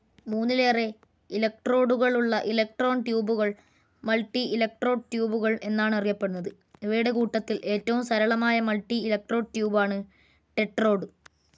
മൂന്നിലേറെ ഇലക്ട്രോഡുകളുള്ള ഇലക്ട്രോൺ ട്യൂബുകൾ, മൾട്ടിഇലക്ട്രോഡ് ട്യൂബുകൾ എന്നാണറിയപ്പെടുന്നത്. ഇവയുടെ കൂട്ടത്തിൽ ഏറ്റവും സരളമായ മൾട്ടിഇലക്ട്രോഡ് ട്യൂബാണ് ടെട്രോഡ്.